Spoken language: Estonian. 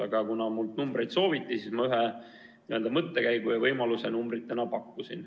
Aga kuna mult numbreid sooviti, siis ma ühe mõttekäigu ja võimaluse välja pakkusin.